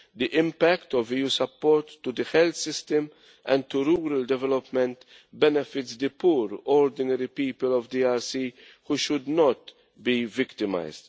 The impact of EU support to the health system and to rural development benefits the poor, ordinary people of the DRC, who should not be victimised.